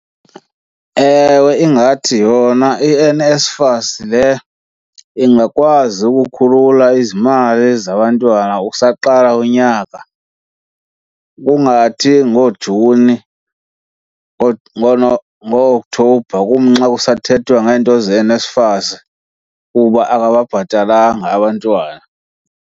Ewe, ingathi yona iNSFAS le ingakwazi ukukhulula izimali zabantwana usaqala unyaka. Kungathi ngooJuni, ngoo-Oktobha kumnxa kusathethwa ngento zeNSFAS kuba akababhatalanga abantwana.